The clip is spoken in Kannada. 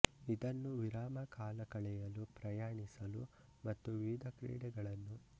ಇದನ್ನು ವಿರಾಮ ಕಾಲ ಕಳೆಯಲು ಪ್ರಯಾಣಿಸಲು ಮತ್ತು ವಿವಿಧ ಕ್ರೀಡೆಗಳನ್ನೂ ಒಳಗೊಂಡಂತೆ ಹಲವಾರು ಕಾರಣಗಳಿಗಾಗಿ ಮಾಡಲಾಗುತ್ತದೆ